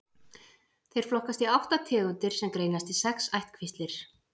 Þeir flokkast í átta tegundir sem greinast í sex ættkvíslir.